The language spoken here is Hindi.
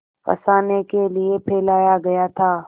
फँसाने के लिए फैलाया गया था